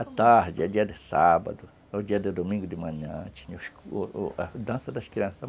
A tarde, a dia de sábado, ao dia de domingo de manhã tinha a dança das crianças.